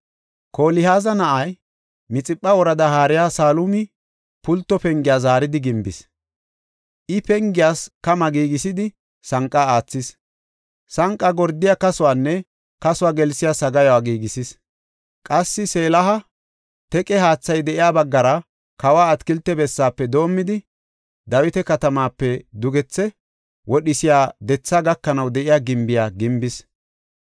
Kolihaaza na7ay, Mixipha woradaa haariya Salumi Pulto Pengiya zaaridi gimbis. I pengiyas kama giigisidi sanqa aathis; sanqa gordiya kasuwanne kasuwa gelsiya sagaayuwa giigisis. Qassi, Selaha teqe haathay de7iya baggara kawa atakilte bessaafe doomidi, Dawita Katamaape dugethe wodhisiya dethaa gakanaw de7iya gimbiya gimbis.